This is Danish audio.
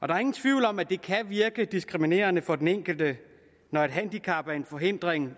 der er ingen tvivl om at det kan virke diskriminerende for den enkelte når et handicap er en forhindring